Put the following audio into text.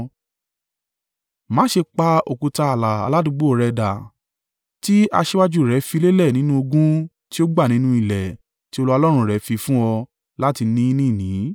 Má ṣe pa òkúta ààlà aládùúgbò rẹ dà tí aṣíwájú rẹ fi lélẹ̀ nínú ogún tí ó gbà nínú ilẹ̀ tí Olúwa Ọlọ́run rẹ fi fún ọ láti ni ní ìní.